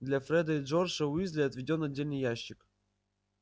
для фреда и джорджа уизли отведён отдельный ящик